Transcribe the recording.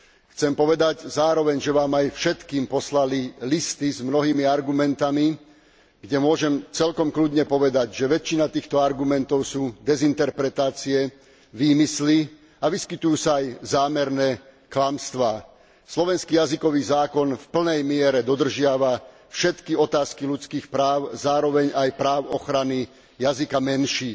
Chcem povedať zároveň, že vám aj všetkým poslali listy s mnohými argumentmi, kde môžem celkom pokojne povedať, že väčšina týchto argumentov sú dezinterpretácie, výmysly a vyskytujú sa aj zámerné klamstvá. Slovenský jazykový zákon v plnej miere dodržiava všetky otázky ľudských práv, zároveň aj práv ochrany jazyka menšín.